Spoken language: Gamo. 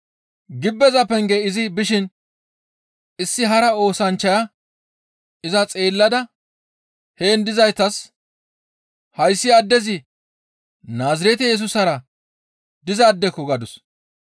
Gibbeza penge izi bishin issi hara oosanchchaya iza xeellada heen dizaytas, «Hayssi addezi Naazirete Yesusara dizaadeko!» gadus.